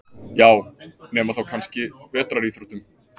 Já, nema þá kannski vetraríþróttum.